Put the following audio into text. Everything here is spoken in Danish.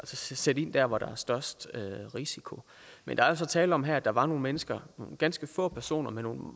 sætte ind dér hvor der er størst risiko men der er altså tale om her at der var nogle mennesker nogle ganske få personer med nogle